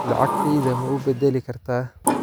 lacagtayda ma u bedeli kartaa